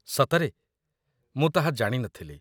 ସତରେ? ମୁଁ ତାହା ଜାଣି ନଥିଲି।